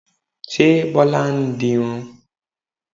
Ṣé Bọlá ń dirun?